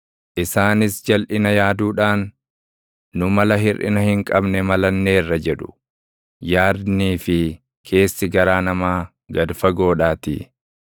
Isaanis jalʼina yaaduudhaan, “Nu mala hirʼina hin qabne malanneerra!” jedhu; yaadnii fi keessi garaa namaa gad fagoodhaatii.